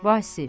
Vasif.